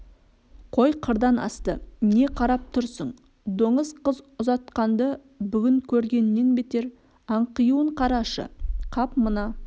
қой қырдан асты не қарап тұрсың доңыз қыз ұзатқанды бүгін көргеннен бетер аңқиуын қарашы қап мына